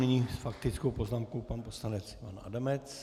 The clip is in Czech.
Nyní s faktickou poznámkou pan poslanec Ivan Adamec.